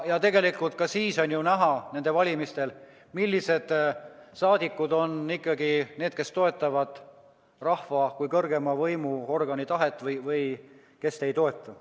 Tegelikult on ju näha nendel valimistel, millised saadikud on need, kes toetavad rahva kui kõrgeima võimuorgani tahet, ja kes on need, kes ei toeta.